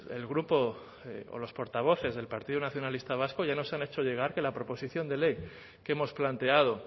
el grupo o los portavoces del partido nacionalista vasco ya nos han hecho llegar que la proposición de ley que hemos planteado